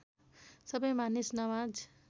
सबै मानिस नमाज